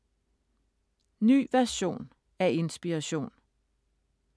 Ny version af Inspiration